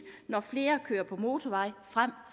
når flere kører på motorvej frem